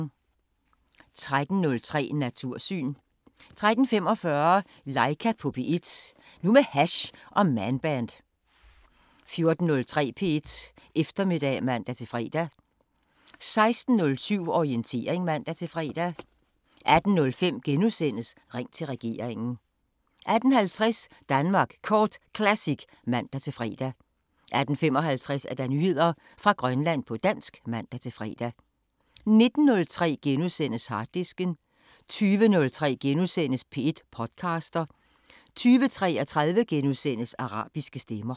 13:03: Natursyn 13:45: Laika på P1 – nu med hash og Man Band 14:03: P1 Eftermiddag (man-fre) 16:07: Orientering (man-fre) 18:05: Ring til regeringen * 18:50: Danmark Kort Classic (man-fre) 18:55: Nyheder fra Grønland på dansk (man-fre) 19:03: Harddisken * 20:03: P1 podcaster * 20:33: Arabiske Stemmer *